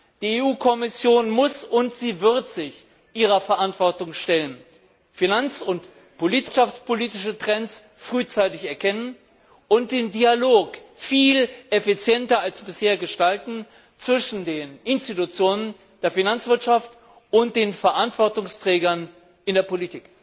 Die EU Kommission muss und sie wird sich ihrer Verantwortung stellen, finanz und wirtschaftspolitische Trends frühzeitig erkennen und den Dialog viel effizienter als bisher gestalten zwischen den Institutionen der Finanzwirtschaft und den Verantwortungsträgern in der Politik.